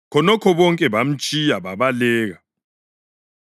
Khonokho bonke bamtshiya babaleka.